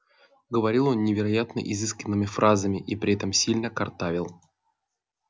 говорил он невероятно изысканными фразами и при этом сильно картавил